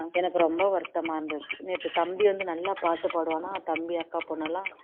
எனக்கு ரொம்ப வருத்தமா இருந்தது நேத்து தம்பி வந்து நல்லா பாட்டு பாடுவானா தம்பி அக்கா பொண்ணுலாம்